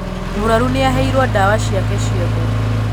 Mūrwaru nīaheirwo ndawa ciake ciothe